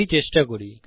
এটি চেষ্টা করি